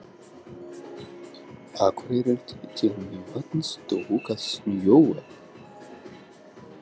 Akureyri til Mývatns tók að snjóa.